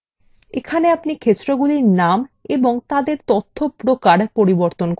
এখানে আপনি ক্ষেত্রগুলির নাম এবং তাদের তথ্যপ্রকার পরিবর্তন করতে পারেন